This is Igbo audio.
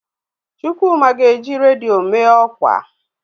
Chukwuma ga-eji redio mee ọkwa.